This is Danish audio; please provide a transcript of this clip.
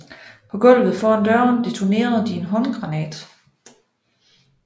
På gulvet foran døren detonerede de en håndgranat